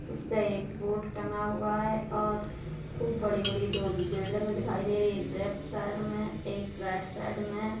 उस पे एक बोर्ड टंगा हुआ है और खूब बड़ी-बड़ी दो बिल्डिंगें दिखाई दे रही हैं एक लेफ्ट साइड में एक राइट साइड में।